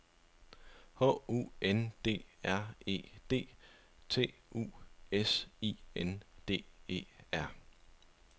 H U N D R E D T U S I N D E R